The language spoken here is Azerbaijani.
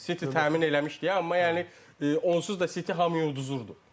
City təmin eləmişdi, amma yəni onsuz da City hamıya udduzurdu.